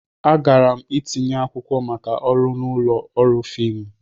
Agara m itinye akwụkwọ maka ọrụ n'ụlọ ọrụ fiimu.